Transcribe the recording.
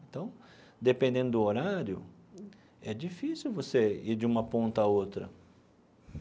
Então, dependendo do horário, é difícil você ir de uma ponta a outra.